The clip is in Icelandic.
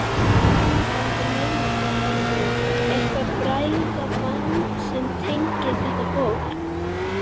Það er einhver leyniþráður, eitthvert bræðraband sem tengir þetta fólk.